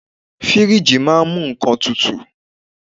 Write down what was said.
Fíríjì máà ń mú nnkan tutù.